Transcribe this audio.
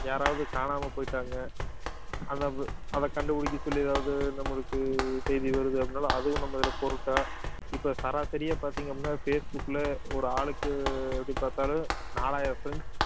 யாராவது காணாம போயிட்டாங்க அதை அதை கண்டுபிடிக்க சொல்லி அதாவது நம்மளுக்கு செய்தி வருது அப்படின்னாலும் அதுவும் நம்ம இதுல இப்ப சராசரியா பார்த்தீங்க அப்படின்னா பேஸ் புக்ல ஒரு ஆளுக்கு எப்படி பார்த்தாலும் நாலாயிரம் friends